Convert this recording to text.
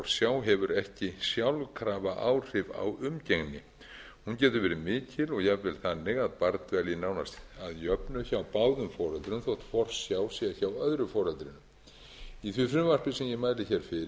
forsjá hefur ekki sjálfkrafa áhrif á umgengni hún getur verið mikil og jafnvel þannig að barn dvelji nánast að jöfnu hjá báðum foreldrum þótt forsjá sé hjá öðru foreldrinu í því frumvarpi sem ég mæli fyrir er kveðið á um sérstaka